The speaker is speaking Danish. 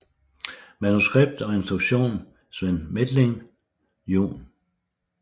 Manuskript og instruktion Sven Methling jun